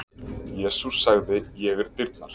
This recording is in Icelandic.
Jesús sagði: Ég er dyrnar.